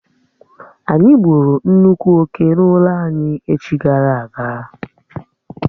Ányi gbụ́ru nnukwu oké n'ụlọ anyị echi gara aga